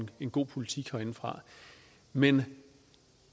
en god politik herindefra men